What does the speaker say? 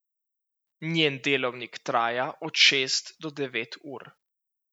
Njen delovnik traja od šest do devet ur.